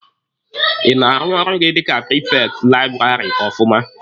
Ị na-arụ ọrụ gị dika prifekti laịbụrarị ọfụma?